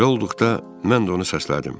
Belə olduqda mən də onu səslədim.